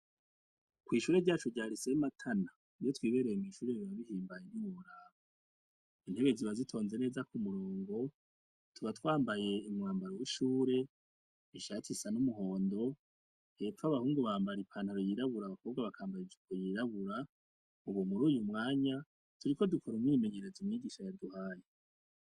Kw'ishure ryacu rya lycee Matana, iyo twibereye mumashure biba bihimbaye ntiworaba , intebe ziba zitonze neza kumurongo tuba twambaye wishure ishati isa numuhondo hasi hepfo abahungu bambara ipantaro yiraburabura abakobwa bakambara ijipo yiraburabura, turiko dukora umwimenyerezo umwigisha yaduhaye.